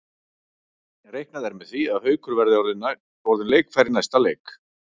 Reiknað er með því að Haukur verði orðinn leikfær í næsta leik.